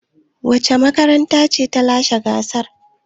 Wace makaranta ce ta lashe gasar?